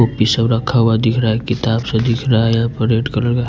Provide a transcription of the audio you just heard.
copy सब रखा हुआ दिख रहा है किताब सा दिख रहा है यहाँ पर रेड कलर का--